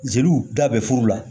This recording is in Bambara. Zeliw da bɛ furu la